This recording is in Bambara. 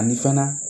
Ani fana